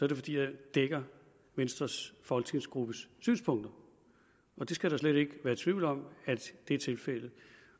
det fordi jeg dækker venstres folketingsgruppes synspunkter og det skal der slet ikke være tvivl om er tilfældet